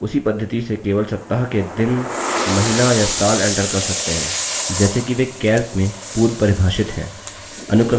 आप उसी पद्धति से केवल सप्ताह के दिन महीना या साल enter कर सकते हैं जैसे कि वे calc में पूर्वपरिभाषित हैं